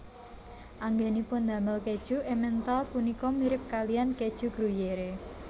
Anggènipun damel kèju Emmental punika mirip kalihan kèju Gruyère